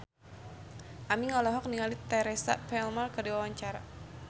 Aming olohok ningali Teresa Palmer keur diwawancara